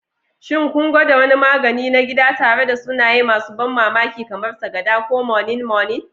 Shin kun gwada wani magani na gida tare da sunaye masu ban mamaki, kamar Sakada ko Moninmonin?